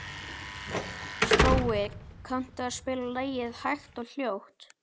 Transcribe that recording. Spói, kanntu að spila lagið „Hægt og hljótt“?